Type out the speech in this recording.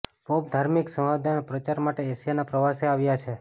pop ધાર્મિક સૌહાર્દના પ્રચાર માટે એશિયાના પ્રવાસે આવ્યા છે